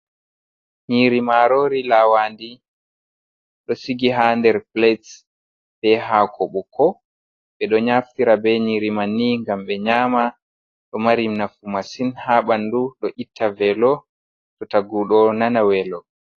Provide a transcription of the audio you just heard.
Nyiri marori lawandi, ɗo sigi ha nder plates be ha ko bukko, ɓe ɗo naftira be nyiri mai ni gam ɓe nyama, ɗo mari nafu masin ha bandu ɗo itta velo to tagu ɗo nana welo.